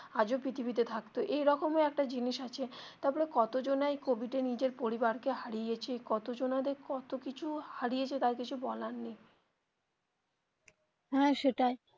আজও পৃথিবীতে থাকতো এরকম একটা জিনিস আছে তারপরে কত জানাই কোভিড এ নিজের পরিবার কে হারিয়েছে কত জনাদের দরে কত কিছু হারিয়েছে তা আর কিছু বলার নেই হ্যা সেটাই.